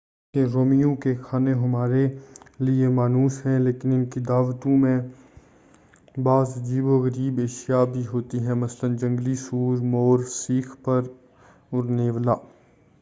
حالانکہ رومیوں کے کھانے ہمارے لئے مانوس ہیں لیکن ان کی دعوتوں میں بعض عجیب و غریب اشیاء بھی ہوتی تھیں مثلاً جنگلی سور مور سیخ پر اور نیولا